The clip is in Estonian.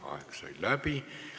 Aeg sai läbi.